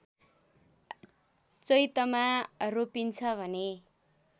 चैतमा रोपिन्छ भने